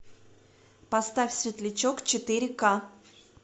поставь светлячок четыре ка